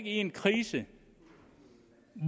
en krise